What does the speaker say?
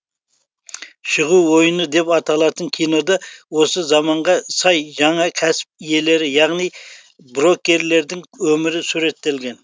шығу ойыны деп аталатын кинода осы заманға сай жаңа кәсіп иелері яғни брокерлердің өмірі суреттелген